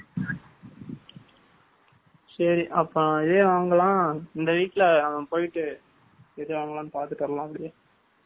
57 . சரி, அப்போ ஏன் அவங்க எல்லாம், இந்த வீட்டுல அவன் போயிட்டு, பாத்துக்கலாம்